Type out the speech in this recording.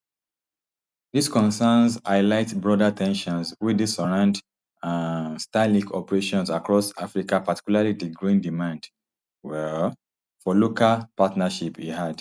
dis concerns highlight broader ten sions wey dey surround um starlink operations across africa particularly di growing demand um for local partnerships e add